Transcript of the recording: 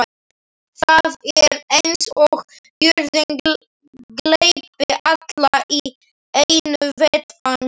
Það er eins og jörðin gleypi alla í einu vetfangi.